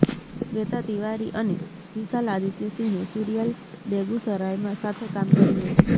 શ્વેતા તિવારી અને વિશાલ આદિત્ય સિંહે સિરીયલ બેગુસરાયમાં સાથે કામ કર્યું હતું